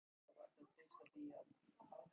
Lykilatriði er að pískurinn titri.